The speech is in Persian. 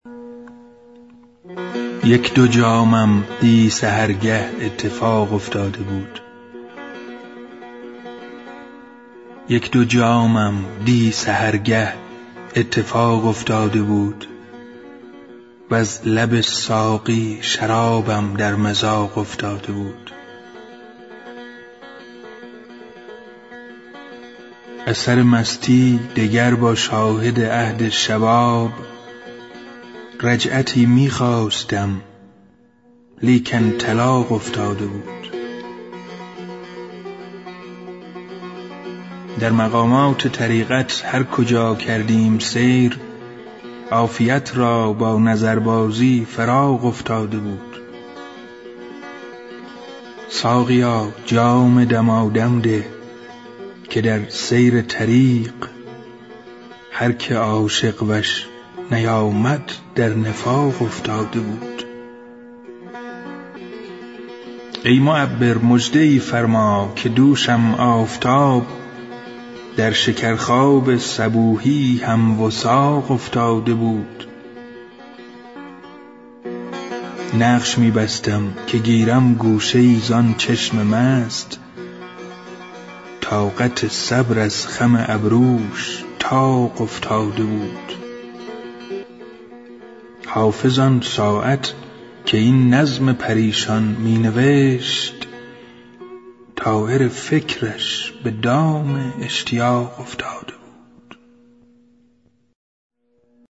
یک دو جامم دی سحرگه اتفاق افتاده بود وز لب ساقی شرابم در مذاق افتاده بود از سر مستی دگر با شاهد عهد شباب رجعتی می خواستم لیکن طلاق افتاده بود در مقامات طریقت هر کجا کردیم سیر عافیت را با نظربازی فراق افتاده بود ساقیا جام دمادم ده که در سیر طریق هر که عاشق وش نیامد در نفاق افتاده بود ای معبر مژده ای فرما که دوشم آفتاب در شکرخواب صبوحی هم وثاق افتاده بود نقش می بستم که گیرم گوشه ای زان چشم مست طاقت و صبر از خم ابروش طاق افتاده بود گر نکردی نصرت دین شاه یحیی از کرم کار ملک و دین ز نظم و اتساق افتاده بود حافظ آن ساعت که این نظم پریشان می نوشت طایر فکرش به دام اشتیاق افتاده بود